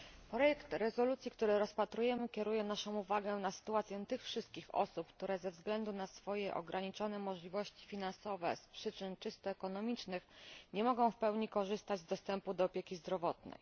Projekt rezolucji, który rozpatrujemy, kieruje naszą uwagę na sytuację tych wszystkich osób, które ze względu na swoje ograniczone możliwości finansowe z przyczyn czysto ekonomicznych nie mogą w pełni korzystać z dostępu do opieki zdrowotnej.